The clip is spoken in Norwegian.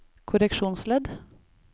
korreksjonsledd